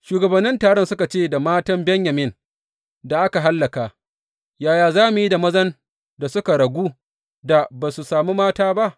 Shugabannin taron suka ce, Da matan Benyamin da aka hallaka, yaya za mu yi da mazan da suka ragu da ba su sami mata ba?